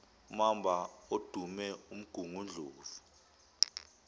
mamba odume umgungundlovu